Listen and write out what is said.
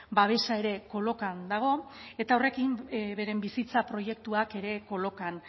babesa ere kolokan dago eta horrekin beren bizitza proiektuak ere kolokan